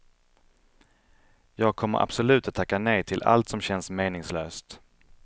Jag kommer absolut att tacka nej till allt som känns meningslöst.